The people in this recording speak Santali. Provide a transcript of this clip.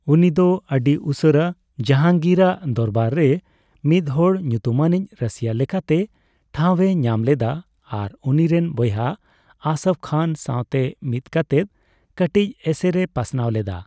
ᱩᱱᱤ ᱫᱚ ᱟᱹᱰᱤ ᱩᱥᱟᱹᱨᱟ ᱡᱟᱦᱟᱝᱜᱤᱨᱟᱜ ᱫᱚᱨᱵᱟᱨ ᱨᱮ ᱢᱤᱫᱦᱚᱲ ᱧᱩᱛᱩᱢᱟᱱᱤᱡ ᱨᱟᱥᱤᱭ ᱞᱮᱠᱟᱛᱮ ᱴᱷᱟᱸᱣ ᱮ ᱧᱟᱢ ᱞᱮᱫᱟ, ᱟᱨ ᱩᱱᱤ ᱨᱮᱱ ᱵᱚᱭᱦᱟ ᱟᱥᱯᱷ ᱠᱷᱟᱱ ᱥᱟᱣᱛᱮ ᱢᱤᱫᱠᱟᱛᱮᱜ ᱠᱟᱴᱤᱪ ᱮᱥᱮᱨ ᱮ ᱯᱟᱥᱱᱟᱣ ᱞᱮᱫᱟ ᱾